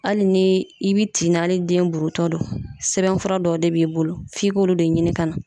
Ali ni i bi tin na ali ni den buruntɔ do sɛbɛnfura dɔw de b'i bolo f'i k'olu de ɲini ka na